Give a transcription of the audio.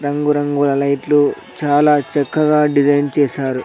రంగురంగుల లైట్లు చాలా చక్కగా డిజైన్ చేశారు.